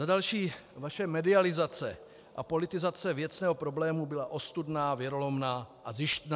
Za další - vaše medializace a politizace věcného problému byla ostudná, věrolomná a zištná.